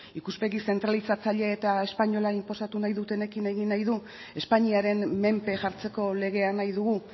ikuspegi zentralizatzaile eta espainola inposatu nahi dutenekin egin nahi du espainiaren menpe jartzeko legea nahi dugu